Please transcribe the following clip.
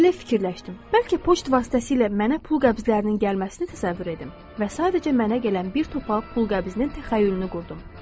Belə fikirləşdim: bəlkə poçt vasitəsilə mənə pul qəbzlərinin gəlməsini təsəvvür edim və sadəcə mənə gələn bir topa pul qəbzinin təxəyyülünü qurdum.